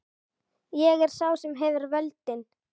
Ég er sá sem hefur völdin.